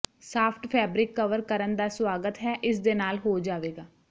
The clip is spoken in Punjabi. ਸਾਫਟ ਫੈਬਰਿਕ ਕਵਰ ਕਰਨ ਦਾ ਸਵਾਗਤ ਹੈ ਇਸ ਦੇ ਨਾਲ ਹੋ ਜਾਵੇਗਾ